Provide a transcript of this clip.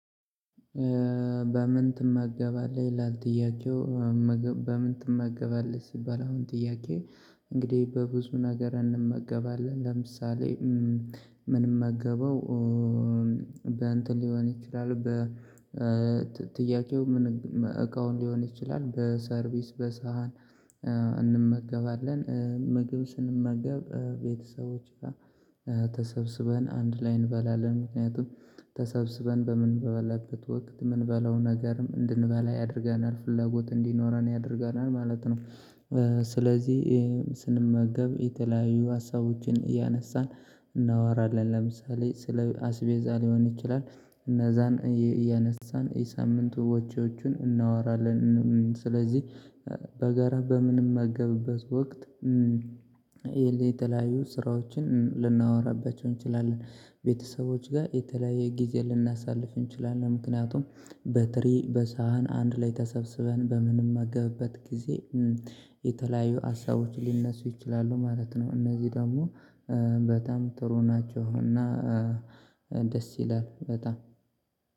በምን ትመገባለህ ይላል ጥያቄው? በምን ትመገባለህ ሲባል አሁን ጥያቄ? እንግዲህ በብዙ ነገር እንመገባለን ለምሳሌ ምንመገበው በእንትን ሊሆን ይችላል። በጥያቄው ምን እቃውን ሊሆን ይችላል። በሰርቪስ በሳህን እንመገባለን። ምግብ ስንመገብ ቤተሰቦች ጋር ተሰብስበን አንድ ላይ እንበላለን ምክንያቱም ተሰብስበን በምንበላለት ወቅት ምንበላው ነገር እንድንበላ ያደርገናል ፍላጎት እንዲኖረን ያደርገናል ማለት ነው። ስለዚህ ስንመገብ የተለያዩ ሀሳቦችን እያነሳን እናወራለን። ለምሳሌ ስለ አስቤዛ ሊሆን ይችላል እነዛን እያነሳን የሳምንቱ ወጭዎቹን እናወራለን። ስለዚህ በጋራ በምንመገብበት ወቅት የተለያዩ ስራዎችን ልናወራባቸው እንችላለን። ቤተሰቦች ጋር የተለያየ ጊዜ ልናሳልፍ እንችላለን። ምክንያቱም በትሪ በሳህን አንድ ላይ ተሰብስበን በምንምመገብበት ጊዜ የተለያዩ ሀሳቦች ሊነሱ ይችላሉ ማለት ነው። እነዚህ ደግሞ በጣም ጥሩ ናቸው። እና ደስ ይላል በጣም